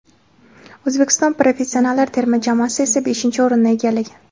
O‘zbekiston professionallar terma jamoasi esa beshinchi o‘rinnni egallagan.